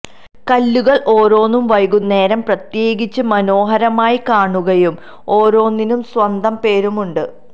കല്ലുകൾ ഓരോന്നും വൈകുന്നേരം പ്രത്യേകിച്ച് മനോഹരമായി കാണുകയും ഓരോന്നിനും സ്വന്തം പേരുമുണ്ട്